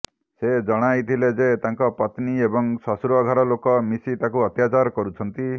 ସେ ଜଣାଇଥିଲେ ଯେ ତାଙ୍କ ପତ୍ନୀ ଏବଂ ଶଶୁରଘର ଲୋକ ମିଶି ତାଙ୍କୁ ଅତ୍ୟାଚାର କରୁଛନ୍ତି